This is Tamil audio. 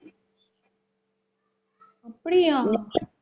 அப்படியா